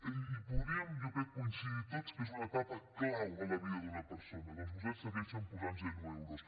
i podríem jo crec coincidir tots que és una etapa clau en la vida d’una persona doncs vostès hi segueixen posant zero euros